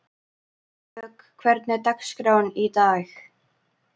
Vök, hvernig er dagskráin í dag?